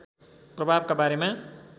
प्रभावका बारेमा